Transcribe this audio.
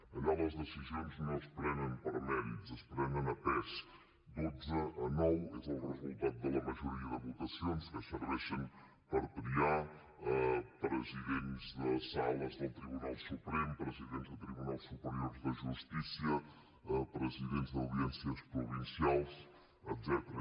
allà les decisions no es prenen per mèrits es prenen a pes dotze a nou és el resultat de la majoria de votacions que serveixen per triar presidents de sales del tribunal suprem presidents de tribunals superiors de justícia presidents d’audiències provincials etcètera